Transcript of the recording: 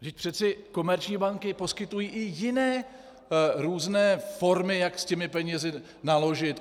Vždyť přeci komerční banky poskytují i jiné různé formy, jak s těmi penězi naložit.